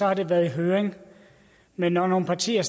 har det været i høring men når nogle partier